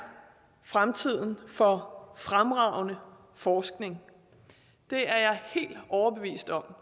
fremtiden for fremragende forskning det er jeg helt overbevist om